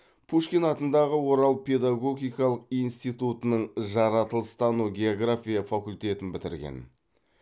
пушкин атындағы орал педагогикалық институтының жаратылыстану география факультетін бітірген